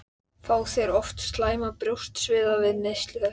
Fá þeir oft slæman brjóstsviða við neyslu þess.